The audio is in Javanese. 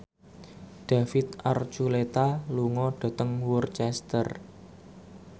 David Archuletta lunga dhateng Worcester